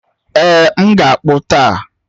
Ee, m ga-akpu taa